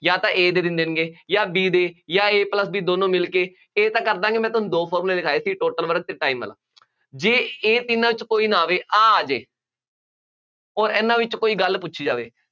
ਜਾਂ ਤਾਂ A ਦੇ ਦਿਨ ਦੇਣਗੇ, ਜਾਂ B ਦੇ ਜਾਂ A plus B ਦੋਨੋ ਮਿਲਕੇ, ਇਹ ਤਾਂ ਕਰ ਦਿਆਂਗੇ, ਮੈਂ ਤੁਹਾਨੂੰ ਦੋ formula ਲਿਖਾਏ ਸੀ, total work ਅਤੇ time ਵਾਲਾ, ਜੇ ਇਹ ਤਿੰਨਾ ਚ ਕੋਈ ਨਾ ਆਵੇ, ਆਹ ਆ ਜਾਏ, ਅੋਰ ਇਹਨਾ ਵਿੱਚ ਕੋਈ ਗੱਲ ਪੁੱਛੀ ਜਾਵੇ।